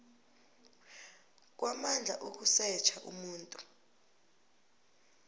kwamandla ukusetjha umuntu